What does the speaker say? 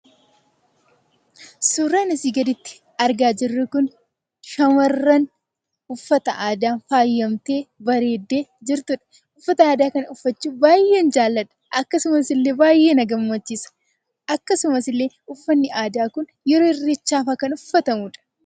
Suuraan asii gaditti argaa jirru kun, shamarran uffata aadaan faayamtee, bareeddee jirtudha. Uffata aadaa kana uffachuu baayyeen jaaladha. Akkasumasillee baayyee na gammachiisa. Akkasumasillee uffanni aadaa kun yeroo irreechaafa kan uffatamudha.